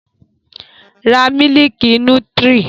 Ra mílìkì nútírì!